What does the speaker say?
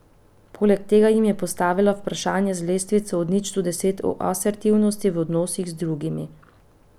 Poleg tega jim je postavila vprašanja z lestvico od nič do deset o asertivnosti v odnosih z drugimi.